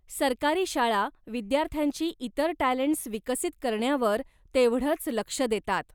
सरकारी शाळा विद्यार्थ्यांची इतर टॅलंटस् विकसित करण्यावर तेवढंच लक्ष देतात.